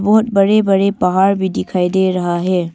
बहुत बड़े बड़े पहाड़ भी दिखाई दे रहा है।